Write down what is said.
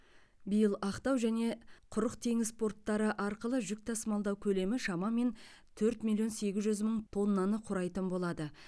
биыл ақтау және құрық теңіз порттары арқылы жүк тасымалдау көлемі шамамен төрт миллион сегіз жүз мың тоннаны құрайтын болады